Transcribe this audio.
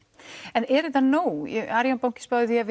en er þetta nóg arionbanki spáði því að